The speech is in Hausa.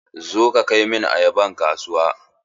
Zo ka kai min ayaban kasuwa!